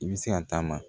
I bɛ se ka taama